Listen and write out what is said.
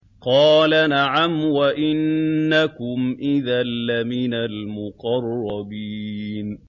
قَالَ نَعَمْ وَإِنَّكُمْ إِذًا لَّمِنَ الْمُقَرَّبِينَ